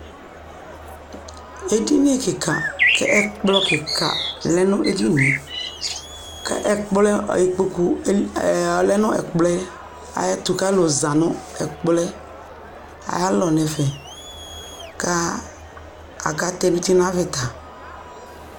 ɛdini kikaa kɛ ɛkplɔ kikaa lɛnʋ ɛdiniɛ kʋ ɛkplɔ, ikpɔkʋ ɔlɛnʋ ɛkplɔɛ ayɛtʋ kʋ alʋ zanʋ ɛkplɔɛ ayi alɔ nʋ ɛƒɛ kʋ aka tɛnʋti nʋ avita